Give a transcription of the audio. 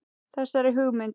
Þessari hugmynd